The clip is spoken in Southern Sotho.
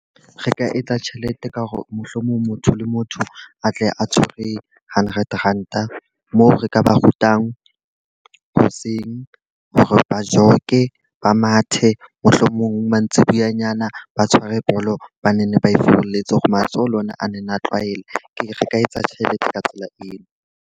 Re ka etsa tjhelete ka hore mohlomong motho le motho a tle a tshwere hundred ranta, moo re ka ba rutang hoseng hore ba jog-e, ba mathe. Mohlomong mantsibuyanyana ba tshware bolo ba ne ba e furuletse hore matsoho le ona a ne na tlwaele. Ke re ka etsa tjhelete ka tsela eo.